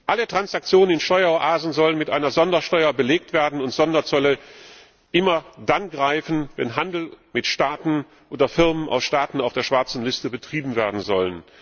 Alle Transaktionen in Steueroasen sollen mit einer Sondersteuer belegt werden und Sonderzölle immer dann greifen, wenn Handel mit Staaten oder Firmen aus Staaten auf der schwarzen Liste betrieben werden soll.